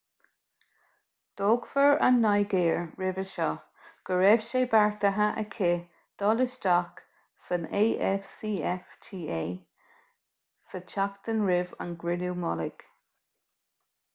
d'fhógair an nigéir roimhe seo go raibh sé beartaithe aici dul isteach san afcfta sa tseachtain roimh an gcruinniú mullaigh